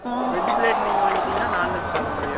veg plate நீங்க வாங்கிட்டீங்கன்னா, non veg சாப்பிட முடியாது